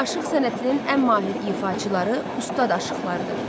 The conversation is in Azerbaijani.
Aşıq sənətinin ən mahir ifaçıları ustad aşıqlardır.